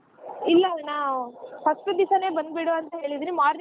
ಇಲ್ಲಾ ಅಣ್ಣಾ first ದಿವ್ಸನೆ ಬಂದ್ಬಿಡು ಅಂತ ಹೇಳಿದಿನಿ morning .